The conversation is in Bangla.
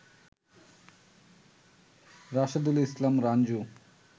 রাশেদুল ইসলাম রাঞ্জু